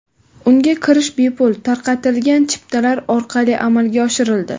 Unga kirish bepul tarqatilgan chiptalar orqali amalga oshirildi.